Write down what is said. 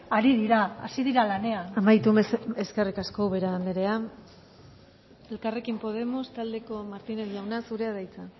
ari dira hasi dira lanean amaitu mesedez eskerrik asko ubera andrea elkarrekin podemos taldeko martinez jauna zurea da hitza